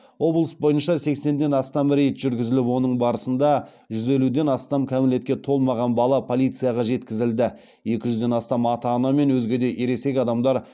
облыс бойынша сексеннен астам рейд жүргізіліп оның барысында жүз елуден астам кәмелетке толмаған бала полицияға жеткізілді екі жүзден астам ата ана мен өзге де ересек адамдар